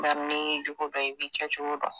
Nga n'i y'i jugu dɔn i b'i kɛ cogo dɔn